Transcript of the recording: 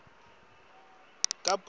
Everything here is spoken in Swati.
kabhokweni